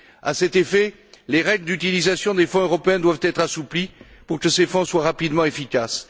À cet effet, les règles d'utilisation des fonds européens doivent être assouplies pour que ces fonds soient rapidement efficaces.